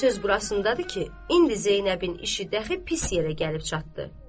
Amma söz burasındadır ki, indi Zeynəbin işi dəxi pis yerə gəlib çatdı.